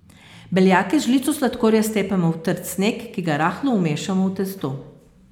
Beljake z žlico sladkorja stepemo v trd sneg, ki ga rahlo vmešamo v testo.